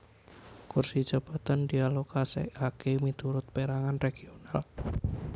Kursi jabatan dialokasèkaké miturut pèrangan regional